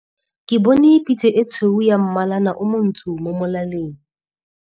Ke bone pitse e tshweu ya mmalana o montsho mo molaleng.